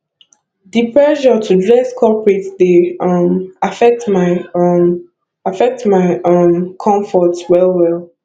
di pressure to dress corporate dey um affect my um affect my um comfort well well